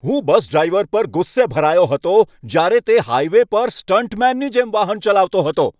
હું bus driver પર ગુસ્સે ભરાયો હતો જ્યારે તે હાઈવે પર સ્ટંટમેનની જેમ વાહન ચલાવતો હતો.